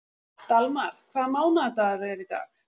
Dalmar, hvaða mánaðardagur er í dag?